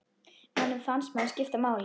Manni fannst maður skipta máli.